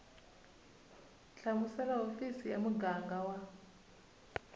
hlamusela hofisi ya muganga wa